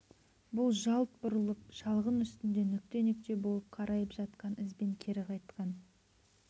бұл жалт бұрылып шалғын үстінде нүкте-нүкте болып қарайып жатқан ізбен кері қайтқан